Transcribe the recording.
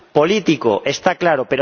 político, está claro